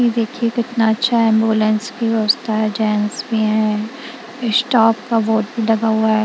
देखिए कितना अच्छा है एंबुलेंस की व्यवस्था है जेंट्स भी हैं स्टाफ का बोर्ड लगा हुआ है।